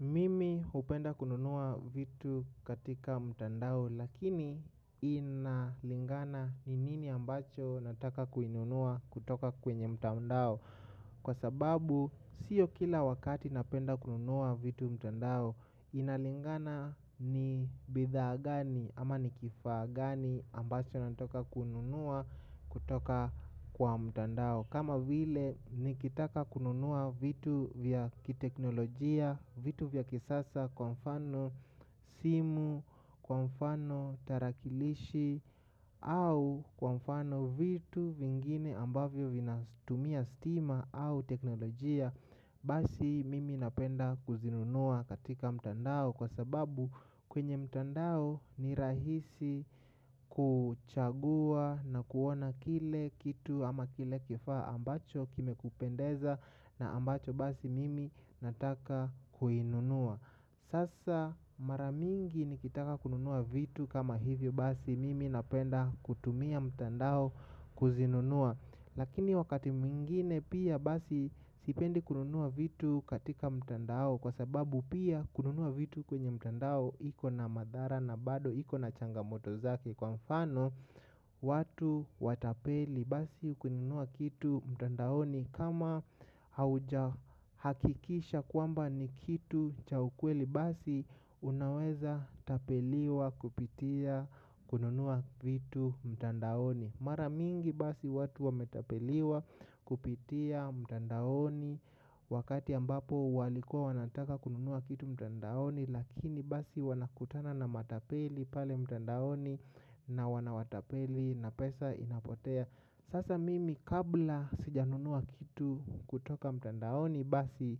Mimi hupenda kununua vitu katika mtandao lakini inalingana ni nini ambacho nataka kununua kutoka kwenye mtandao. Kwa sababu si kila wakati napenda kununua vitu mtandao. Inalingana ni bidhaa gani ama ni kifaa gani ambacho nataka kununua kutoka kwa mtandao. Kama wile nikitaka kununua vitu vya kiteknolojia, vitu vya kisasa kwa mfano simu, kwa mfano tarakilishi. Au kwa mfano vitu vingine ambavyo vina tumia stima au teknolojia. Basi mimi napenda kuzinunua katika mtandao. Kwa sababu kwenye mtandao ni rahisi kuchagua na kuona kile kitu ama kile kifaa ambacho kimekupendeza na ambacho basi mimi nataka kukinunua. Sasa mara mingi nikitaka kununua vitu kama hivyo basi mimi napenda kutumia mtandao kuvinunua. Lakini wakati mwingine pia basi sipendi kununua vitu katika mtandao kwa sababu pia kununua vitu kwenye mtandao iko na madhara na bado ikona changamoto zake. Kwa mfano watu watapeli basi kununua kitu mtandaoni kama hauja hakikisha kwamba ni kitu cha ukweli basi unaweza tapeliwa kupitia kununua vitu mtandaoni. Mara mingi basi watu wametapeliwa kupitia mtandaoni wakati ambapo walikuwa wanataka kununua kitu mtandaoni. Lakini basi wanakutana na matapeli pale mtandaoni na wanawatapeli na pesa inapotea sasa mimi kabla sijanunua kitu kutoka mtandaoni basi